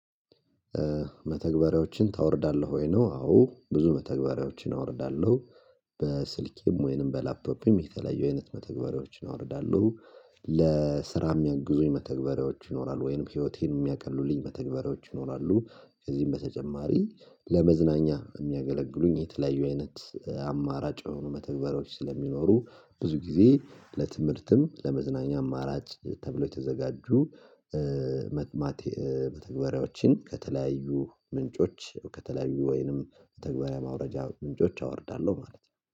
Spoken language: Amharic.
መተግበሪያዎችን ታወርዳለህ ወይ? ነው አዎ ብዙ መተግበሪያዎችን አወርዳለሁ። በስልኬም ወይንም በላፕቶፔም የተለያዩ አይነት መተግበሪያዎችን አወርዳለሁ። ለስራ የሚያግዙኝ መተግበሪያዎች ይኖራሉ፤ ወይንም ህይወቴን የሚያቀሉልኝ በተግባሬዎች ይኖራሉ። ከዚህም በተጨማሪ ለመዝናኛ የሚያገለግሉኝ የተለያዩ አይነት አማራጭ የሆኑ መተግበሪያዎች ስለሚኖሩ፤ ብዙ ጊዜ ለትምህርትም ለመዝናኛ አማራጭ ተብሎ የተዘጋጁ፤ መተግባራዎችን ከተለያዩ ምንጮች ከተለያዩ ወይንም ተግባራዊ ማውረጃ ምንጮች አወርዳለሁ ማለት ነው።